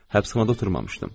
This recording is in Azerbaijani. Həbsxanada oturmamışdım.